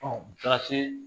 taara se